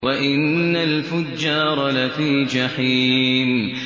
وَإِنَّ الْفُجَّارَ لَفِي جَحِيمٍ